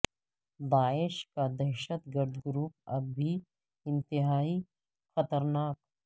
داعش کا دہشت گرد گروپ اب بھی انتہائی خطرناک